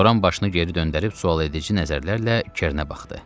Loran başını geri döndərib sual edici nəzərlərlə Kernə baxdı.